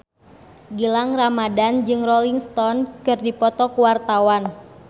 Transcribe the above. Gilang Ramadan jeung Rolling Stone keur dipoto ku wartawan